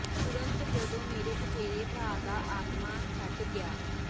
ਤੁਰੰਤ ਜਦੋਂ ਮੇਰੇ ਚਚੇਰੇ ਭਰਾ ਦਾ ਆਤਮਾ ਛੱਡ ਗਿਆ